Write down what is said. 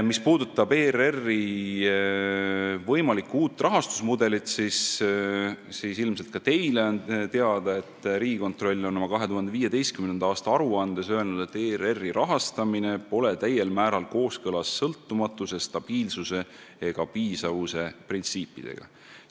Mis puudutab ERR-i võimalikku uut rahastusmudelit, siis ilmselt ka teile on teada, et Riigikontroll on oma 2015. aasta aruandes öelnud, et ERR-i rahastamine pole täiel määral kooskõlas sõltumatuse, stabiilsuse ja piisavuse printsiipidega.